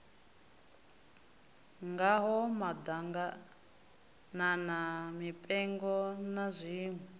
ngaho maḓaganana mipengo na zwiṋwe